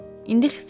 İndi xiffət çəkirsən?